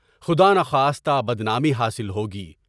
خداناخواستہ بدنامی حاصل ہوگی۔